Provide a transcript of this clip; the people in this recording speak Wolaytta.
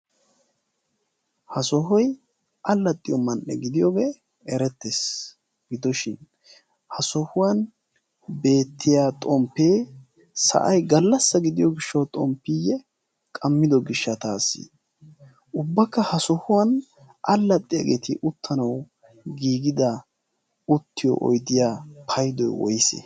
ha sohoy allaxxiyo man'e gidiyoogee erettees. Gidoshin ha sohuwan beettiya xomppee sa'ay gallassa gidiyo gishshawu xomppiiyye qammido gishshataasi. ubbakka ha sohuwan allaxxiyaageeti uttanawu giigida uttiyo oyddiya paydoy woyse?